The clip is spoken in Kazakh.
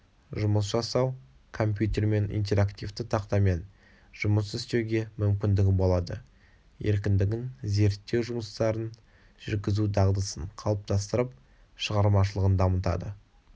жұмыс жасау компьютермен интерактивті тақтамен жұмыс істеуге мүмкіндігі болады еркіндігін зерттеу жұмыстарын жүргізу дағдысын қалыптастырып шығармашылығын дамытады